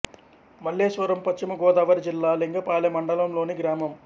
మల్లెస్వరం పశ్చిమ గోదావరి జిల్లా లింగపాలెం మండలం లోని గ్రామం